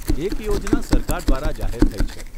એક યોજના સરકાર દ્વારા જાહેર થઇ છે.